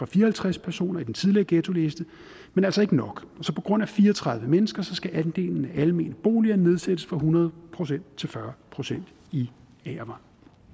fire og halvtreds personer i den tidligere ghettoliste men altså ikke nok på grund af fire og tredive mennesker skal andelen af almene boliger altså nedsættes fra hundrede procent til fyrre procent i agervang